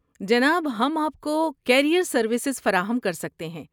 جناب، ہم آپ کو کیریئر سروسز فراہم کر سکتے ہیں۔